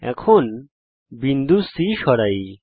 এখন বিন্দু C সরাই